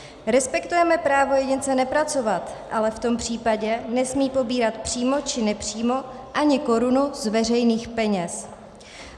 Respektujeme právo jedince nepracovat, ale v tom případě nesmí pobírat přímo či nepřímo ani korunu z veřejných peněz.